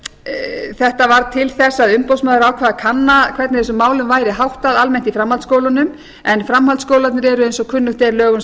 þetta varð til þess að umboðsmaður ákvað að kanna hvernig þessum málum væri háttað almennt í framhaldsskólunum en framhaldsskólarnir eru eins og kunnugt er lögum